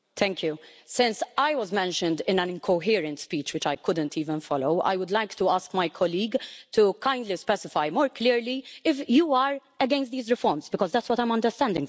Since I was mentioned in an incoherent speech, which I couldn't even follow, I would like my colleague to kindly specify more clearly, if you are against these reforms because that is what I am understanding from you.